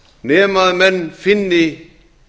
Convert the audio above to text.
nema menn finni